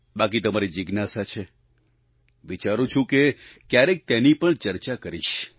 બાકી તમારી જિજ્ઞાસા છે વિચારું છું કે ક્યારેક તેની પણ ચર્ચા કરીશ